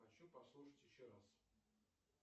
хочу послушать еще раз